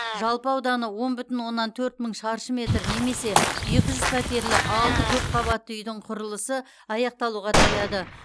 жалпы ауданы он бүтін оннан төрт мың шаршы метр немесе екі жүз пәтерлі алты көпқабатты үйдің құрылысы аяқталуға таяды